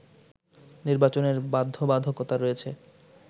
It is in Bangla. নির্বাচনের বাধ্যবাধকতা রয়েছে